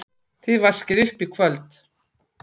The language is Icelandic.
Þið vaskið upp í kvöld